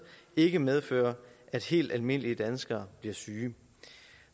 ikke medfører at helt almindelige danskere bliver syge